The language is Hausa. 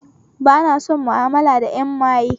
Ba na son ma'amala da 'yan maye